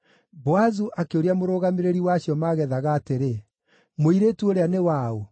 Boazu akĩũria mũrũgamĩrĩri wa acio maagethaga atĩrĩ, “Mũirĩtu ũũrĩa nĩ wa ũ?”